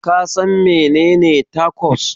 Kasan menene Tacos?